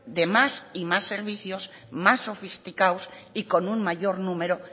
de más y más servicios más sofisticados y con un mayor número